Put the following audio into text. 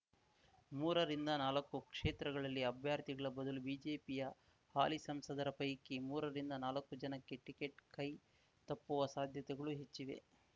ಮೂರರಿಂದನಾಲಕ್ಕು ಕ್ಷೇತ್ರಗಳಲ್ಲಿ ಅಭ್ಯರ್ಥಿಗಳ ಬದಲು ಬಿಜೆಪಿಯ ಹಾಲಿ ಸಂಸದರ ಪೈಕಿ ಮೂರರಿಂದನಾಲಕ್ಕು ಜನಕ್ಕೆ ಟಿಕೆಟ್ ಕೈ ತಪ್ಪುವ ಸಾಧ್ಯತೆಗಳು ಹೆಚ್ಚಿವೆ